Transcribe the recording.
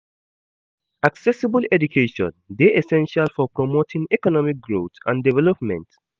Accessible education dey essential for promoting economic growth and development.